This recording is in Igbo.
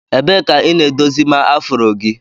Ebee ka ị na-edozima afro gị?